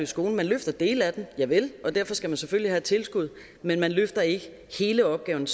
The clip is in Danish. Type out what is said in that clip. skole man løfter dele af den javel og derfor skal man selvfølgelig have et tilskud men man løfter ikke hele opgaven